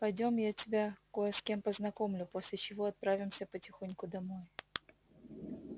пойдём я тебя кое с кем познакомлю после чего отправимся потихоньку домой